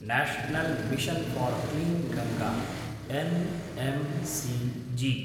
national mission for clean Ganga NMCG